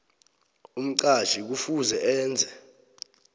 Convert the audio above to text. umqatjhi kufuze enze